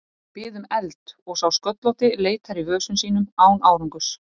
Ég bið um eld og sá sköllótti leitar í vösum sínum án árangurs.